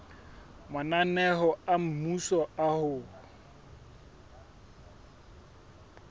mananeo a mmuso a ho